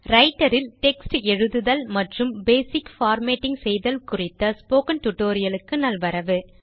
writer இல் - text எழுதுதல் மற்றும் பேசிக் பார்மேட்டிங் செய்தல் குறித்த டியூட்டோரியல் க்கு நல்வரவு